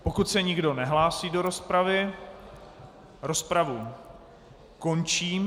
Pokud se nikdo nehlásí do rozpravy, rozpravu končím.